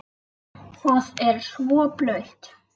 Það er svo blautt.